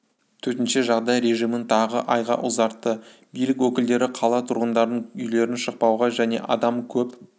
төтенше жағдай режимін тағы айға ұзартты билік өкілдері қала тұрғындарын үйлерінен шықпауға және адам көп